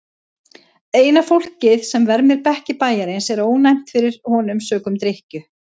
Eina fólkið sem vermir bekki bæjarins er ónæmt fyrir honum sökum drykkju.